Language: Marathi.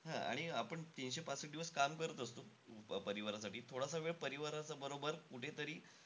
हा आणि आपण तीनशे पासष्ठ दिवस काम करत असतो परिवारासाठी. थोडसा वेळ परिवाराबरोबर कुठेतरी,